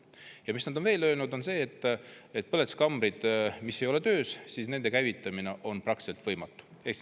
Ja mis nad on veel öelnud, on see, et põletuskambrid, mis ei ole töös, nende käivitamine on praktiliselt võimatu.